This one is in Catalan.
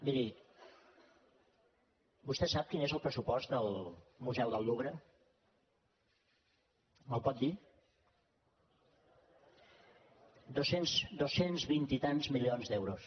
miri vostè sap quin és el pressupost del museu del louvre me’l pot dir dos cents vint i tants milions d’euros